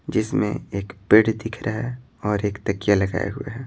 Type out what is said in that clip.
जिसमें एक बेड दिख रहा है और एक तकिया लगाए हुए हैं।